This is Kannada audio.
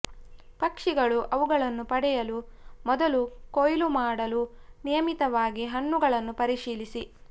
ಪಕ್ಷಿಗಳು ಅವುಗಳನ್ನು ಪಡೆಯಲು ಮೊದಲು ಕೊಯ್ಲು ಮಾಡಲು ನಿಯಮಿತವಾಗಿ ಹಣ್ಣುಗಳನ್ನು ಪರಿಶೀಲಿಸಿ